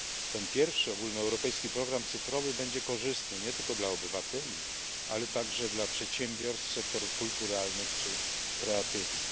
Ten pierwszy ogólnoeuropejski program cyfrowy będzie korzystny nie tylko dla obywateli, ale także dla przedsiębiorstw, sektorów kulturalnych czy kreatywnych.